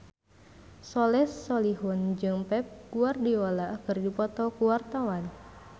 Soleh Solihun jeung Pep Guardiola keur dipoto ku wartawan